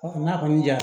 n'a kɔni jara